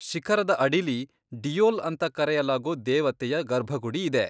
ಶಿಖರದ ಅಡಿಲಿ ಡಿಯೊಲ್ ಅಂತ ಕರೆಯಲಾಗೋ ದೇವತೆಯ ಗರ್ಭಗುಡಿ ಇದೆ.